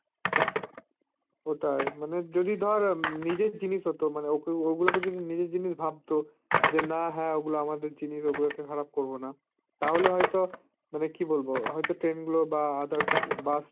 ওটাই, যদি ধর নিজের জিনিস হতো মানে ওগুলো কে যদি নিজের জিনিস ভাবতো যে না হা ওগুলো আমাদের জিনিস ওগুলো কে খারাপ করবো না তাহলে হয়তো মানে কী বলবো হয়তো train গুলো বা others bus